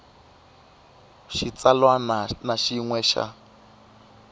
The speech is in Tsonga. xitsalwana na xin we xa